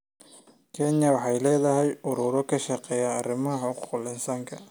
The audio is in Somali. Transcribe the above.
Kenya waxay leedahay ururo ka shaqeeya arrimaha xuquuqul insaanka.